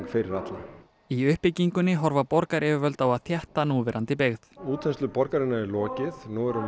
fyrir alla í uppbyggingunni horfa borgaryfirvöld á að þétta núverandi byggð útþenslu borgarinnar er lokið nú erum